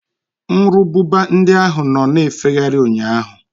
Nru ububa ndị ahụ nọ na-efegharị ụnyaahụ.